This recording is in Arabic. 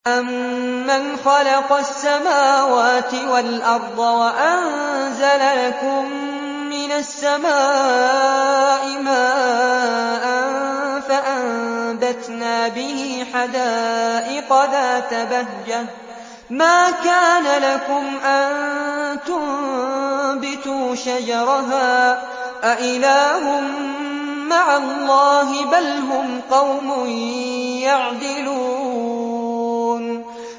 أَمَّنْ خَلَقَ السَّمَاوَاتِ وَالْأَرْضَ وَأَنزَلَ لَكُم مِّنَ السَّمَاءِ مَاءً فَأَنبَتْنَا بِهِ حَدَائِقَ ذَاتَ بَهْجَةٍ مَّا كَانَ لَكُمْ أَن تُنبِتُوا شَجَرَهَا ۗ أَإِلَٰهٌ مَّعَ اللَّهِ ۚ بَلْ هُمْ قَوْمٌ يَعْدِلُونَ